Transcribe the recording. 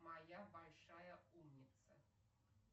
моя большая умница